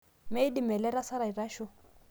meidim ele tasat aitasho